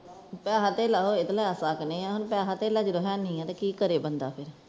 ਪੈਸਾ-ਧੇਲਾ ਹੋਵੇ ਤੇ ਲੈ ਸਕਦੇ ਹਾਂ ਪੈਸਾ-ਧੇਲਾ ਜਦੋਂ ਨਹੀਂ ਹੈ ਤੇ ਕੀ ਕਰੇ ਬੰਦਾ